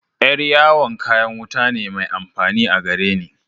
Yar'yawon kayan wuta ne mai amfani a gareni.